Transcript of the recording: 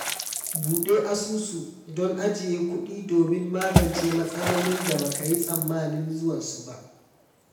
Buɗe asusu don ajiye kuɗi domin magance matsalolin da ba ka yi tsammanin zuwansu ba